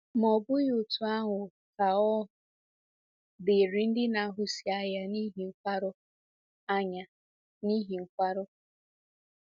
Ma ọ bụghị otú ahụ ka ọ dịrị ndị na-ahụsi anya n’ihi nkwarụ. anya n’ihi nkwarụ.